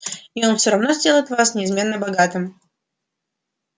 и он всё равно сделает вас неизмеримо богатым